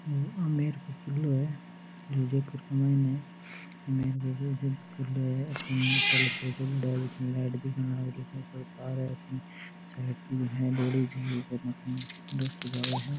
ओ आमेर को किलो है जो जयपुर को माइन है बहुत बड़ा किलो है अथीन लाइट दिखाने लाग री है ऊपर तार है अठीन साइड मे बहुत बड़ी झील है रास्तो जावे है।